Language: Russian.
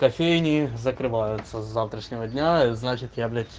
кофейни закрываются с завтрашнего дня это значит я блять